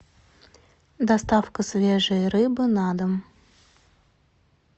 доставка свежей рыбы на дом